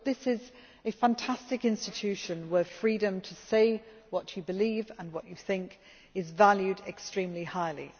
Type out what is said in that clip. This is a fantastic institution, where freedom to say what you believe and what you think is valued extremely highly.